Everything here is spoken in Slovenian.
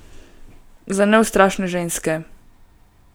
Za neustrašne ženske.